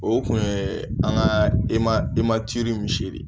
O kun ye an ka eman e ma misiri de ye